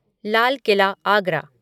Lal Qila Agra